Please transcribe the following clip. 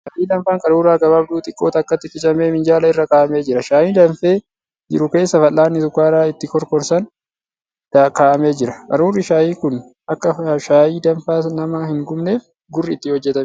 Shaayii danfaan qaruura gabaabduu xiqqoo takkatti qicamee minjaala irra kaa'amee jira. Shaayii danfee jiru keessa fal'aanni shukkaara ittiin kokorsan kaa'amee jira. Qaruurri shaayii kun akka shaayii danfaan nama hin gubneef gurri itti hojjatamee jira.